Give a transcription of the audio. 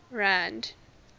rand